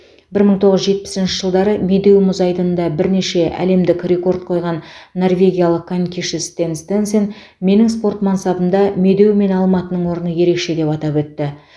бір мың тоғыз жүз жетпісінші жылдары медеу мұз айдынында бірнеше әлемдік рекорд қойған норвегиялық конькиші стэн стенсен менің спорт мансабымда медеу мен алматының орны ерекше деп атап өтті